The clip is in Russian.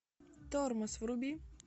тормоз вруби